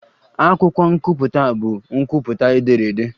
Akwụkwọ nkwupụta bụ nkwupụta ederede.